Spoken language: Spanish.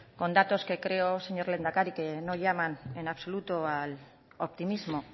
con datos que creo señor lehendakari que no llaman en absoluto al optimismo